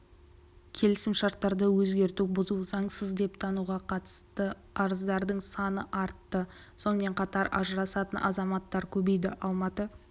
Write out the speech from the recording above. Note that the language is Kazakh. келісімшарттарды өзгерту бұзу заңсыз деп тануға қатысты арыздардың саны артты сонымен қатар ажырасатын азаматтар көбейді алматы